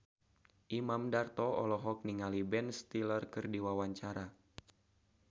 Imam Darto olohok ningali Ben Stiller keur diwawancara